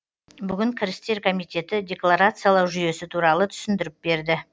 бүгін кірістер комитеті деклорациялау жүйесі туралы түсінідіріп берді